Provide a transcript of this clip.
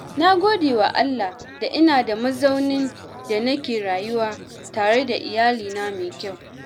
Na gode wa Allah da ina da mazaunin da nake rayuwa tare da iyalina mai kyau.